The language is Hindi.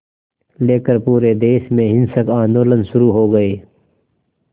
लेकर पूरे देश में हिंसक आंदोलन शुरू हो गए